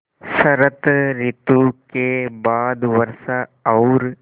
शरत ॠतु के बाद वर्षा और